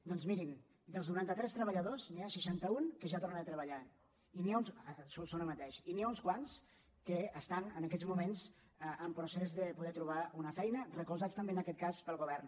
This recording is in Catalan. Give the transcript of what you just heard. doncs mirin dels noranta·tres treballadors n’hi ha seixanta·un que ja tornen a treba·llar a solsona mateix i n’hi ha uns quants que estan en aquests moments en procés de poder trobar una fei·na recolzats també en aquest cas pel govern